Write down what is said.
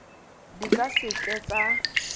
di ka se ke tsa